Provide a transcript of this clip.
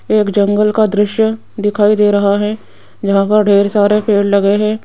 एक जंगल का दृश्य दिखाई दे रहा है यहां पर ढेर सारे पेड़ लगे हैं।